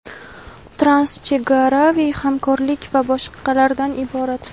transchegaraviy hamkorlik va boshqalardan iborat.